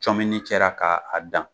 Comini cɛra k'a dan.